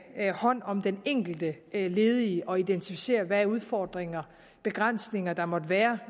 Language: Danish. hånd om den enkelte ledige og identificere hvilke udfordringer og begrænsninger der måtte være